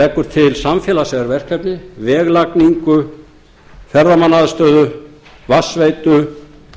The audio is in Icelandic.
leggur til samfélagsleg verkefni veglagningu ferðamannaaðstöðu vatnsveitu gsm símkerfisúrbætur eingreiðslur